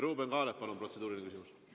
Ruuben Kaalep, palun, protseduuriline küsimus!